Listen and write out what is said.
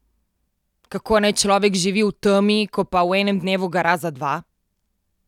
Kako naj človek živi v temi, ko pa v enem dnevu gara za dva?